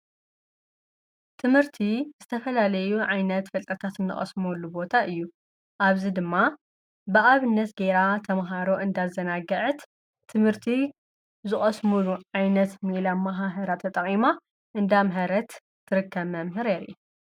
ትምህርቲ ዝተፈላለዩ ዓይነት ፍልጠታት እንቀስመሉ ቦታ እዩ፡፡ አብዚ ድማ ብአብነት ገይራ ተምሃሮ እንዳ አዘናግዐት ትምህርቲ ዝቀስምሉ ዓይነት ሜላ አመሃህራ ተጠቂማ እንዳ አምሀረት ትርከብ መምህር ንሪአ፡፡